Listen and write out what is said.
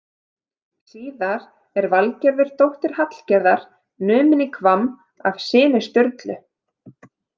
Síðar er Valgerður dóttir Hallgerðar numin í Hvamm af syni Sturlu.